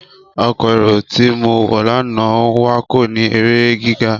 Ọkọ́ éró ti mo wọ lana n wakọ ni ere giga.